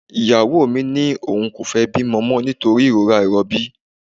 Ìyàwó mi ní òun kò fẹ́ bímọ mọ nítorí ìrora ìrọbí